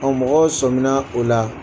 Ɔ mɔgɔw sɔmina o la